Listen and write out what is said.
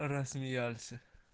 рассмеялся